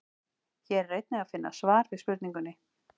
Hér er einnig að finna svar við spurningunni: